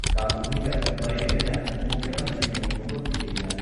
ꯀꯥꯡ ꯀꯨꯝꯍꯩꯒ ꯃꯔꯤ ꯂꯩꯅꯅ ꯃꯨꯈ꯭ꯌ ꯃꯟꯇ꯭ꯔꯤ ꯅꯣꯡꯊꯣꯝꯕꯝ ꯕꯤꯔꯦꯟꯅ